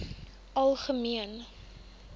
algemene